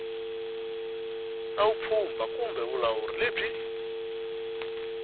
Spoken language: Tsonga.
na vupfhumba kumbe vulawuri lebyi